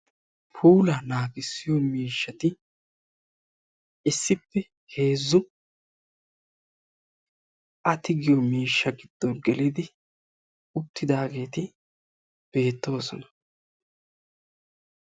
Puulaa naagissiyoo miishshati issippe heezzu a tigiyoo miishshaa giddon gelidi uttidaageti beettoosona.